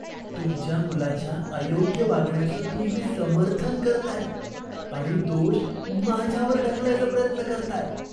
तुमच्या मुलाच्या अयोग्य वागण्याचं तुम्ही समर्थन करताय आणि दोष माझ्यावर ढकलायचा प्रयत्न करताय.